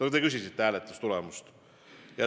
No te küsisite hääletustulemuse kohta.